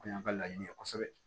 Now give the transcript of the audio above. O kun y'an ka laɲini ye kosɛbɛ